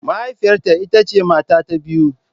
Mahaifiyata ita ce mata ta biyu.